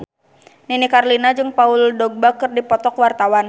Nini Carlina jeung Paul Dogba keur dipoto ku wartawan